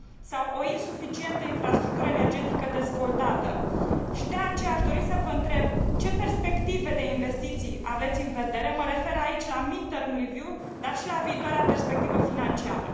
sau o insuficientă infrastructură energetică dezvoltată și de aceea aș dori să vă întreb ce perspective de investiții aveți în vedere, mă refer aici la mid term review dar și la viitoarea perspectivă financiară.